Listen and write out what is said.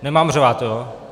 Nemám řvát?